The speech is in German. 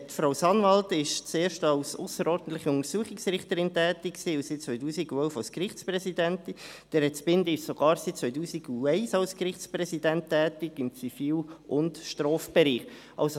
Frau Sanwald war zuerst als ausserordentliche Untersuchungsrichterin tätig und seit 2011 als Gerichtspräsidentin, Herr Zbinden ist sogar seit 2001 als Gerichtspräsident im Zivil- und Strafbereich tätig.